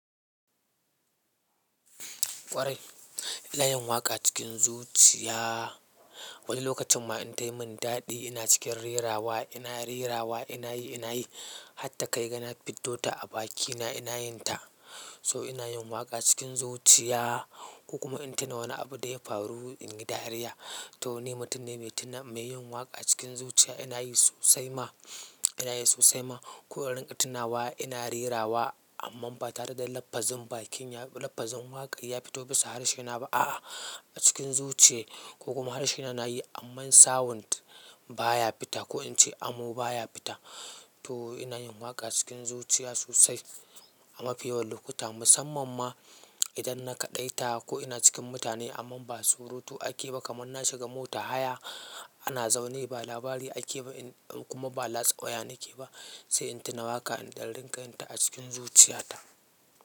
Ƙwarai, ina yin waƙa cikin zuciya. Wani lokacin ma in ta yi min daɗi ina cikin rerawa ina rerawa ina yi ina yi hatta kai gana fito da a bakina ina yin ta. So ina yin waƙa cikin zuciya ko kuma in tuna wani abu da ya faru in yi dariya. To ni mutum ne mai tuna mai yin waƙa cikin zuciya ina yi sosai ma ina yi sosai ma. Ko in rinka tunawa ina rerawa amma ba tare da lafazin bakin ya lafazin waƙar ya fito bisa harshena ba. A'a a cikin zuciyar ko kuma harshena na yi amma sound baya fita ko in ce amo baya fita. To ina yin waƙa cikin zuciya sosai a mafi yawan lokuta musamman ma idan na kaɗaita ko ina cikin mutane amma ba surutu ake ba kamar na shiga mota haya ana zaune ba labari ake ba in kuma ba latsa waya nake ba sai in tuna waƙa in dan rika yinta a cikin zuciyata.